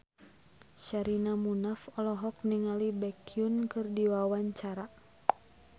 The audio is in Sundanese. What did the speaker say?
Sherina Munaf olohok ningali Baekhyun keur diwawancara